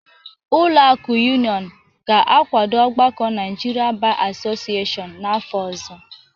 Ụlọ akụ Union ga-akwado ọgbakọ Naijiria Ba Asọcịyeshiọñ n'afọ ọzọ